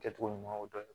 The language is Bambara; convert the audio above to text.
Kɛcogo ɲumanw dɔn